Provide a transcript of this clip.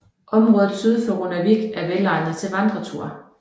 Området syd for Runavík er velegnet til vandreture